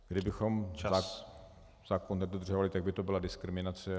Kdybychom zákon nedodržovali, tak by to byla diskriminace.